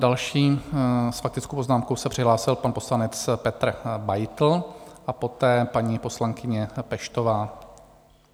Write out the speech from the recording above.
Další s faktickou poznámkou se přihlásil pan poslanec Petr Beitl a poté paní poslankyně Peštová.